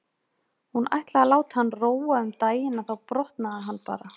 Hún ætlaði að láta hann róa um daginn en þá brotnaði hann bara.